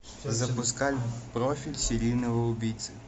запускай профиль серийного убийцы